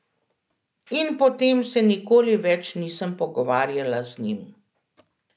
In potem se nikoli več nisem pogovarjala z njim.